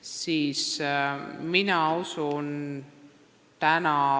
siis nad on selleks valmis.